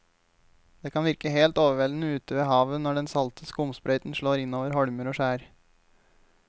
Det kan virke helt overveldende ute ved havet når den salte skumsprøyten slår innover holmer og skjær.